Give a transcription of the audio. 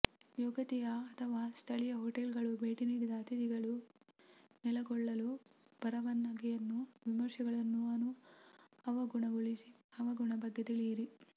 ಯೋಗ್ಯತೆಯ ಅಥವಾ ಸ್ಥಳೀಯ ಹೋಟೆಲ್ಗಳು ಭೇಟಿ ನೀಡಿದ ಅತಿಥಿಗಳು ನೆಲೆಗೊಳ್ಳಲು ಪರವಾನಗಿಯನ್ನು ವಿಮರ್ಶೆಗಳನ್ನು ಅವಗುಣ ಬಗ್ಗೆ ತಿಳಿಯಿರಿ